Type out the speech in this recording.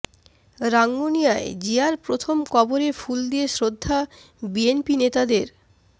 রাঙ্গুনিয়ায় জিয়ার প্রথম কবরে ফুল দিয়ে শ্রদ্ধা বিএনপি নেতাদের